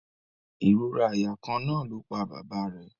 Ìrora àyà kan náà ló pa bàbá rẹ̀